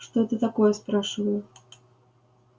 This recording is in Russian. что это такое спрашиваю